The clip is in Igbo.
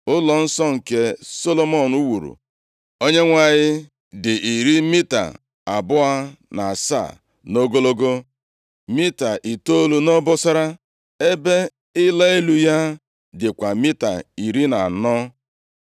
Ụlọnsọ nke eze Solomọn wuuru Onyenwe anyị dị iri mita abụọ na asaa nʼogologo, mita itoolu nʼobosara, ebe ịla elu ya dịkwa mita iri na anọ.